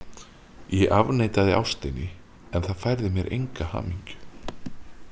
Ég afneitaði ástinni en það færði mér enga hamingju